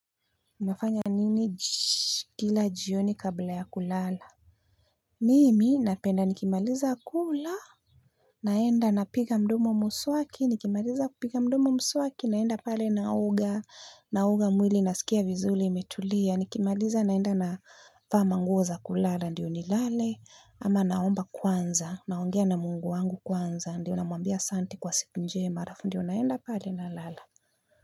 Nafanya nini kila jioni kabla ya kulala mimi napenda nikimaliza kula naenda napiga mdomo mswaki nikimaliza kupiga mdomo mswaki naenda pale naoga naoga mwili nasikia vizuri imetulia nikimaliza naenda navaa manguo za kulala ndiyo nilale ama naomba kwanza naongea na mungu wangu kwanza ndiyo namwambia asante kwa siku njema halafu ndiyo naenda pale nalala.